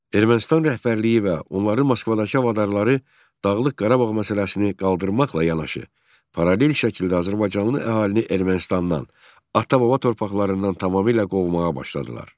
Ermənistan rəhbərliyi və onların Moskvadakı havadarları Dağlıq Qarabağ məsələsini qaldırmaqla yanaşı, paralel şəkildə azərbaycanlı əhalini Ermənistandan, ata-baba torpaqlarından tamamilə qovmağa başladılar.